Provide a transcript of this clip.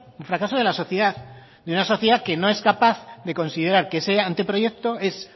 un fracaso de la sociedad de una sociedad que no es capaz de considerar que ese anteproyecto es